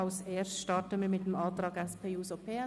Als Erstes starten wir mit dem Antrag SP-JUSO-PSA.